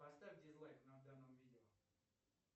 поставь дизлайк на данном видео